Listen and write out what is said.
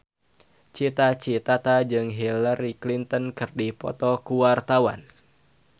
Cita Citata jeung Hillary Clinton keur dipoto ku wartawan